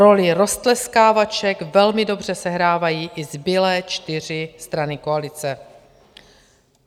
Roli roztleskávaček velmi dobře sehrávají ty zbylé čtyři strany koalice.